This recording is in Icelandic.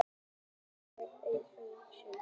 Margir með ís og gosdrykki.